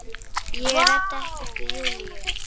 Ég ræddi ekkert við Júlíu.